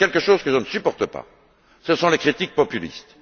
Mais il y a une chose que je ne supporte pas ce sont les critiques populistes.